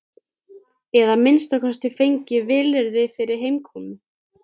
Eða að minnsta kosti fengið vilyrði fyrir heimkomu.